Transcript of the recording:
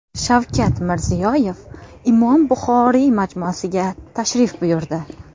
Shavkat Mirziyoyev Imom Buxoriy majmuasiga tashrif buyurdi.